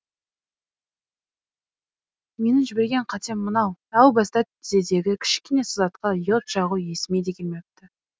менің жіберген қатем мынау әу баста тізедегі кішкене сызатқа йод жағу есіме де келмепті